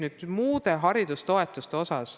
Nüüd muudest haridustoetustest.